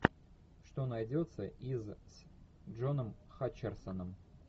что найдется из с джоном хатчерсоном